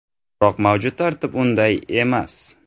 Biroq mavjud tartib unday emas.